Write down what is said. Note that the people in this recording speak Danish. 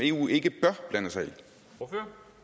jo ikke